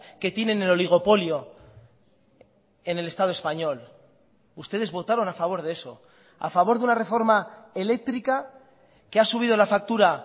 que tienen el oligopolio en el estado español ustedes votaron a favor de eso a favor de una reforma eléctrica que ha subido la factura